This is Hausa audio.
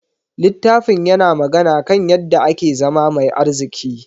Littafin yana magana kan yadda ake zama mai arziki.